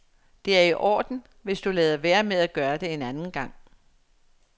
Det i orden, hvis du lader være med at gøre det en anden gang.